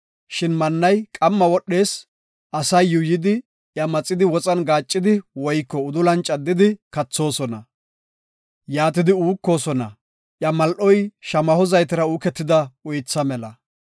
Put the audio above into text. Mannay qamma wodhees; asay yuuyidi iya maxidi woxan gaaccidi woyko udulan caddidi kathoosona. Yaatidi uukosona; iya mal7oy shamaho zaytera uuketida uytha mela.